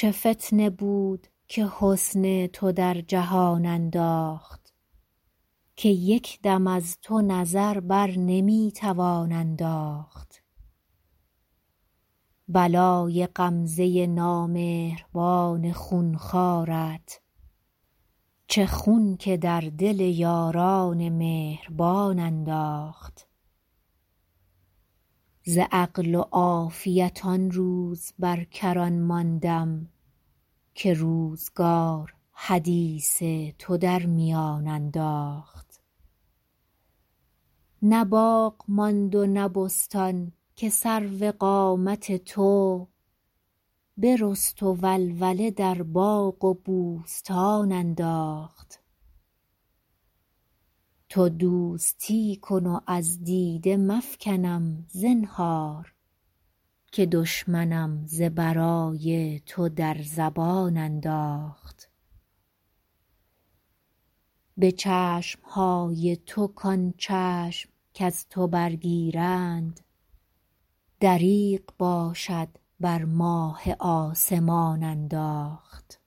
چه فتنه بود که حسن تو در جهان انداخت که یک دم از تو نظر بر نمی توان انداخت بلای غمزه نامهربان خون خوارت چه خون که در دل یاران مهربان انداخت ز عقل و عافیت آن روز بر کران ماندم که روزگار حدیث تو در میان انداخت نه باغ ماند و نه بستان که سرو قامت تو برست و ولوله در باغ و بوستان انداخت تو دوستی کن و از دیده مفکنم زنهار که دشمنم ز برای تو در زبان انداخت به چشم های تو کان چشم کز تو برگیرند دریغ باشد بر ماه آسمان انداخت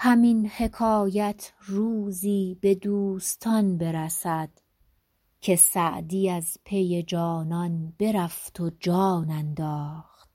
همین حکایت روزی به دوستان برسد که سعدی از پی جانان برفت و جان انداخت